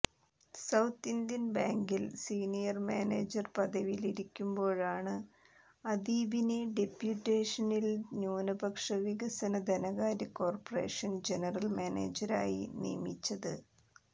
south Indian ബാങ്കിൽ senior manager പദവിയിലിരിക്കുമ്പോഴാണ് അദീബിനെ ഡെപ്യൂട്ടേഷനിൽ ന്യൂനപക്ഷ വികസന ധനകാര്യ കോർപ്പറേഷൻ ജനറൽ മാനേജരായി നിയമിച്ചത്